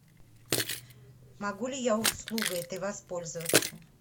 могу ли я услугой этой воспользоваться